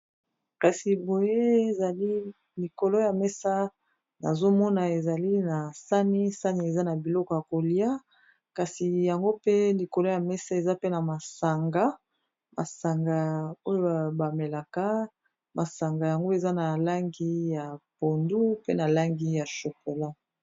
Kasi boye ezali likolo ya mesa nazomona ezali na sani sani eza na biloko ya kolia kasi yango pe likolo ya mesa eza pe na masanga masanga oyo bamelaka masanga yango eza na langi ya pondu pe na langi ya chokola.